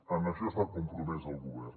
en això està compromès el govern